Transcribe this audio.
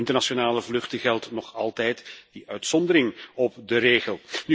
Voor internationale vluchten geldt nog altijd die uitzondering op de regel.